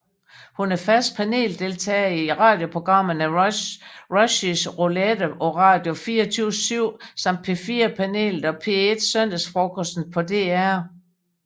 Hun er fast paneldeltager i radioprogrammerne Rushys Roulette på Radio24syv samt P4 Panelet og P1 Søndagsfrokosten på DR